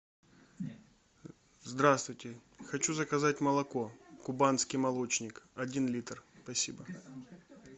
здравствуйте хочу заказать молоко кубанский молочник один литр спасибо